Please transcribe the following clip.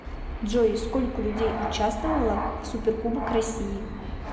джой сколько людей участвовало в суперкубок россии